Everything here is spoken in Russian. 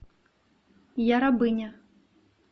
я рабыня